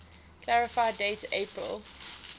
clarify date april